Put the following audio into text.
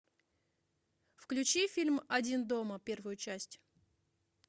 включи фильм один дома первую часть